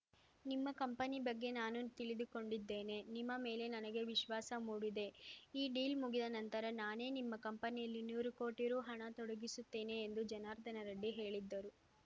ನಿಮ್ಮ ಕಂಪನಿ ಬಗ್ಗೆ ನಾನು ತಿಳಿದುಕೊಂಡಿದ್ದೇನೆ ನಿಮ್ಮ ಮೇಲೆ ನನಗೆ ವಿಶ್ವಾಸ ಮೂಡಿದೆ ಈ ಡೀಲ್‌ ಮುಗಿದ ನಂತರ ನಾನೇ ನಿಮ್ಮ ಕಂಪನಿಯಲ್ಲಿ ನೂರು ಕೋಟಿ ರು ಹಣ ತೊಡಗಿಸುತ್ತೇನೆ ಎಂದು ಜನಾರ್ದನ ರೆಡ್ಡಿ ಹೇಳಿದ್ದರು